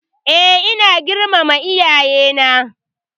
E, ina girmama iyayena.